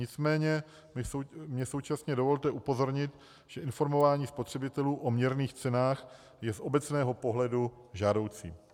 Nicméně mi současně dovolte upozornit, že informování spotřebitelů o měrných cenách je z obecného pohledu žádoucí.